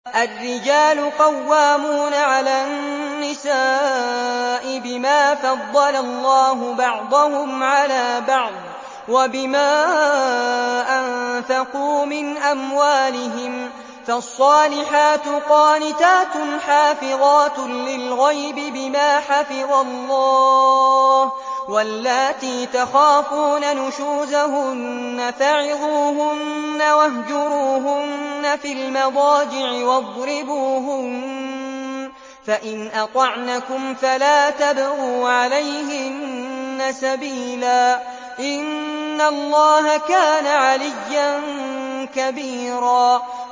الرِّجَالُ قَوَّامُونَ عَلَى النِّسَاءِ بِمَا فَضَّلَ اللَّهُ بَعْضَهُمْ عَلَىٰ بَعْضٍ وَبِمَا أَنفَقُوا مِنْ أَمْوَالِهِمْ ۚ فَالصَّالِحَاتُ قَانِتَاتٌ حَافِظَاتٌ لِّلْغَيْبِ بِمَا حَفِظَ اللَّهُ ۚ وَاللَّاتِي تَخَافُونَ نُشُوزَهُنَّ فَعِظُوهُنَّ وَاهْجُرُوهُنَّ فِي الْمَضَاجِعِ وَاضْرِبُوهُنَّ ۖ فَإِنْ أَطَعْنَكُمْ فَلَا تَبْغُوا عَلَيْهِنَّ سَبِيلًا ۗ إِنَّ اللَّهَ كَانَ عَلِيًّا كَبِيرًا